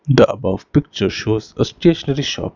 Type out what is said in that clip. The above picture shows a stationary shop.